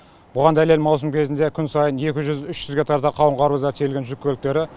бұған дәлел маусым кезінде күн сайын екі жүз үш жүзге тарта қауын қарбыздар тиеген жүк көліктері